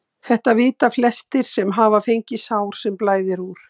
Þetta vita flestir sem hafa fengið sár sem blæðir úr.